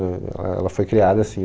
Éh ela, ela foi criada assim.